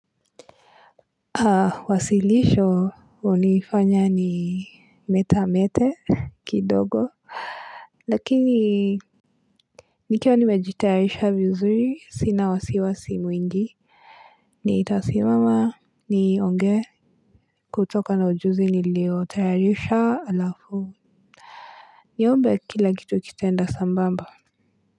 Wasilisho unifanya ni metamete kidogo lakini nikiwa nimejitayarisha vizuri sina wasiwasi mwingi nitasimama nionge kutoka na ujuzi nilio terayarisha alafu niombe kila kitu kitenda sambamba.